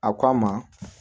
A k'a ma